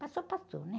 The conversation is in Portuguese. Passou, passou, né?